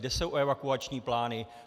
Kde jsou evakuační plány.